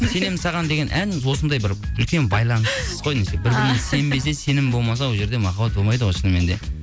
сенемін саған деген ән осындай бір үлкен байланыс қой бір біріміз сенбесе сенім болмаса ондай жерде махаббат болмайды ғой шынымен де